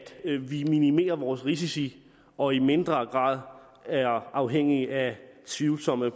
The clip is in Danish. vi minimerer vores risici og i mindre grad er afhængige af tvivlsomme